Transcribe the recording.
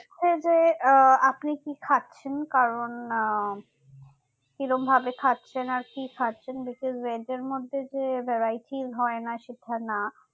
হচ্ছে যে আহ আপনি কি খাচ্ছেন কারণ আহ কিরকম ভাবে খাচ্ছেন আর কি খাচ্ছেন because rate এর মধ্যে যে varieties হয়না সেটা না